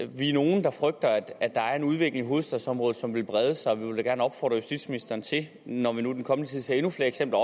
vi er nogle der frygter at der er en udvikling i hovedstadsområdet som vil brede sig vi vil da gerne opfordre justitsministeren når vi nu i den kommende tid ser endnu flere eksempler